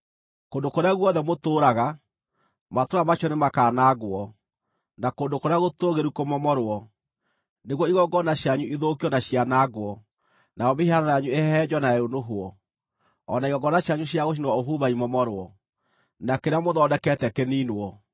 Kũndũ kũrĩa guothe mũtũũraga, matũũra macio nĩmakanangwo, na kũndũ kũrĩa gũtũũgĩru kũmomorwo, nĩguo igongona cianyu ithũkio na cianangwo, nayo mĩhianano yanyu ĩhehenjwo na yũnũhwo, o na igongona cianyu cia gũcinĩrwo ũbumba imomorwo, na kĩrĩa mũthondekete kĩniinwo.